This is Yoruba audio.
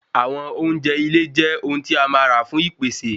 Àwọn oúnjẹ ile je ohun ti a máa ra fún ìpèsè